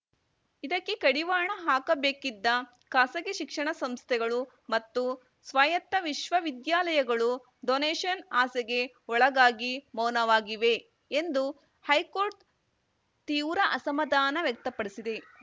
ಇದಕ್ಕೆ ಕಡಿವಾಣ ಹಾಕಬೇಕಿದ್ದ ಖಾಸಗಿ ಶಿಕ್ಷಣ ಸಂಸ್ಥೆಗಳು ಮತ್ತು ಸ್ವಾಯತ್ತ ವಿಶ್ವವಿದ್ಯಾಲಯಗಳು ಡೊನೇಷನ್‌ ಆಸೆಗೆ ಒಳಗಾಗಿ ಮೌನವಾಗಿವೆ ಎಂದು ಹೈಕೋರ್ಟ್‌ ತೀವ್ರ ಅಸಮಾಧಾನ ವ್ಯಕ್ತಪಡಿಸಿದೆ